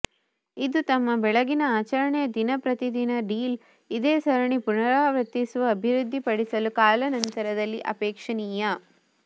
ಇದು ತಮ್ಮ ಬೆಳಗಿನ ಆಚರಣೆ ದಿನ ಪ್ರತಿ ದಿನ ಡೀಲ್ ಇದೇ ಸರಣಿ ಪುನರಾವರ್ತಿಸುವ ಅಭಿವೃದ್ಧಿಪಡಿಸಲು ಕಾಲಾನಂತರದಲ್ಲಿ ಅಪೇಕ್ಷಣೀಯ